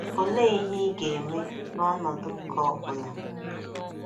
Olee ihe ị ga - eme n’ọnọdụ nke ọ bụla?